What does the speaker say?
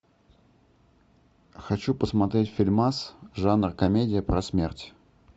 хочу посмотреть фильмас жанр комедия про смерть